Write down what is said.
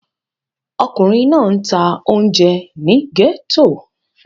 Ọkùnrin náà ń ta oúnjẹ ní gẹ́tò.